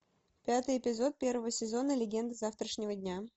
пятый эпизод первого сезона легенды завтрашнего дня